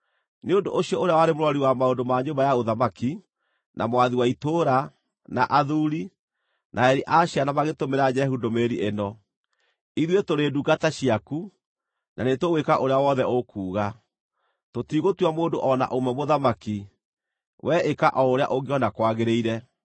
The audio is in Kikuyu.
Nĩ ũndũ ũcio ũrĩa warĩ mũrori wa maũndũ ma nyũmba ya ũthamaki, na mwathi wa itũũra, na athuuri, na areri a ciana magĩtũmĩra Jehu ndũmĩrĩri ĩno: “Ithuĩ tũrĩ ndungata ciaku, na nĩtũgwĩka ũrĩa wothe ũkuuga. Tũtiigũtua mũndũ o na ũmwe mũthamaki; wee ĩka o ũrĩa ũngĩona kwagĩrĩire.”